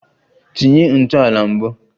Tinye ntọala mbụ!